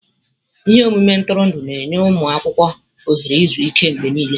Ihe omume ntụrụndụ na-enye ụmụ akwụkwọ ohere izu ike mgbe niile.